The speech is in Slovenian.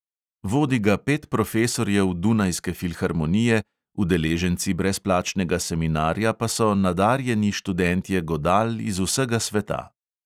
Vodi ga pet profesorjev dunajske filharmonije, udeleženci brezplačnega seminarja pa so nadarjeni študentje godal iz vsega sveta.